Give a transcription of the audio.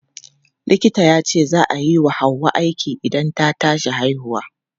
Likita yace za a yi wa Hauwa aiki idan ta tashi haihuwa.